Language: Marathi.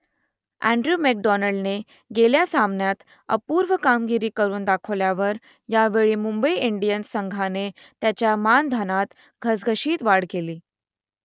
अँड्रू मॅकडोनाल्डने गेल्या सामन्यात अपूर्व कामगिरी करून दाखवल्यावर यावेळी मुंबई इंडियन्स संघाने त्याच्या मानधनात घसघशीत वाढ केली